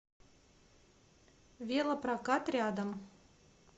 велопрокат рядом